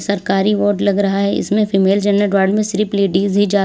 सरकारी वार्ड लग रहा है। इसमें फीमेल जन्नड वार्ड में सिर्फ लेडिस ही जा --